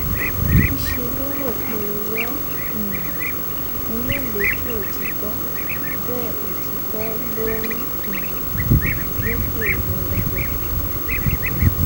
níṣẹ́ ló rò pé irọ́ um ni yóò lékè òtítọ́ bẹ́ẹ̀ òtítọ́ ló ń um lékè irọ́ lọ́jọ́ gbogbo